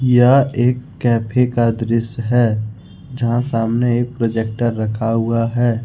यह एक कैफे का दृश्य है जहां सामने एक प्रोजेक्टर रखा हुआ है।